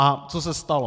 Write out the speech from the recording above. A co se stalo?